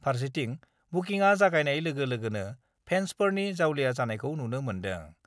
फारसेथिं बुकिंआ जागायनाय लोगो लोगो फेन्सफोरनि जावलिया जानायखौ नुनो मोन्दों।